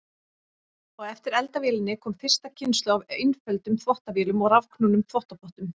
Á eftir eldavélinni kom fyrsta kynslóð af einföldum þvottavélum og rafknúnum þvottapottum.